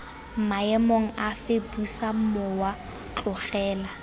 maemong afe busa mowa tlogela